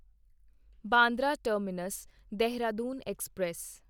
Bandra terminus Dehradun express